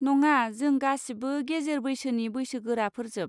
नङा, जों गासिबो गेजेर बैसोनि बैसोगोराफोरजोब।